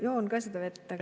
Ma joon ka seda vett, aga ...